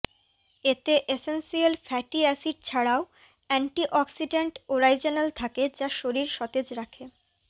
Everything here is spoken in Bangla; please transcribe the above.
এতে এসেন্সিয়াল ফ্যাটি অ্যাসিড ছাড়াও অ্যান্টিঅক্সিড্যান্ট ওরাইজ্যানল থাকে যা শরীর সতেজ রাখে